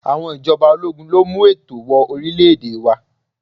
Àwọn ìjọba ológun ló mú ètò wọ orílè-èdè wá.